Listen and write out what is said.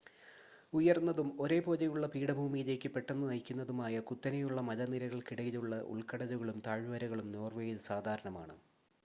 ഉയർന്നതും ഒരേ പോലെയുള്ള പീഠഭൂമിയിലേക്ക് പെട്ടെന്ന് നയിക്കുന്നതുമായ കുത്തനെയുള്ള മലനിരകൾക്കിടയിലുള്ള ഉൾക്കടലുകളും താഴ്വരകളും നോർവേയിൽ സാധാരണമാണ്